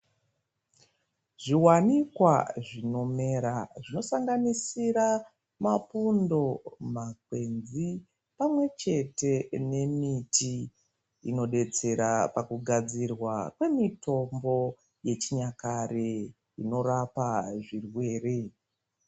Zviwanikwa zvinomera zvosanganisira mapundo makwenzi pamwepo nemiti inotidetsera pakugadzirwa kwemitombo yechinyakare inorapa zvirwere.